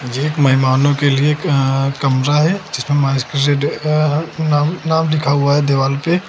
ये एक मेहमानों के लिए एक कमरा है जिसपे नाम नाम लिखा हुआ है दीवाल पे।